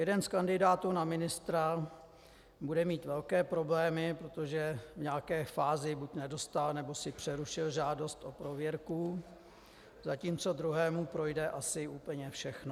Jeden z kandidátů na ministra bude mít velké problémy, protože v nějaké fázi buď nedostal, nebo si přerušil žádost o prověrku, zatímco druhému projde asi úplně všechno.